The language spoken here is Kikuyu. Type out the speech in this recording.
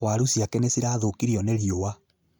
Waaru ciake nĩ cirathũkirio nĩ rĩũwa